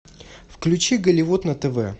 включи голливуд на тв